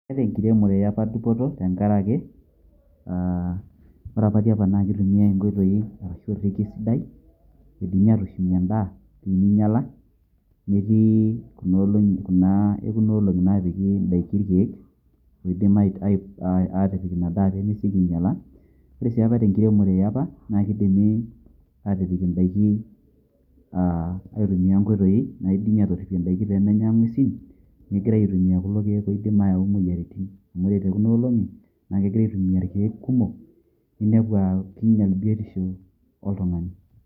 Eta enkiremore eapa dupoto tenkaraki ah Ore apa tiapa na kitumiai enkoitoi ashu orrekie sidai, keidimi atushum endaa pe minyala, metii kunolong'i kuna ekunolong'i napiki idaiki irkeek peidim atipik inadaa pemeseki ainyala. Ore si apa tenkiremore eapa na keidimi atipik idaiki ah aitumia enkoitoi naidimi atorripie idaiki pemenya ng'uesin megirai aitumia kulo keek oidim ayau moyiaritin. Amu Ore tekuna olong'i na kegirai aitumia irkeek kumok ninepu ah kinyal biotisho oltung'ani.